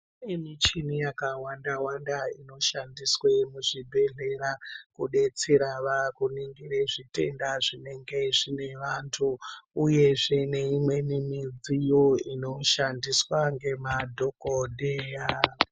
Kune michini yakawanda wanda inoshandiswa muzvibhedhlera kudetsera kuningire zvitenda zvinenge zvine vantu uyezve neimwe midziyo inoshandiswa ngemadhokodheya.